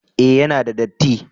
eh ya na da datti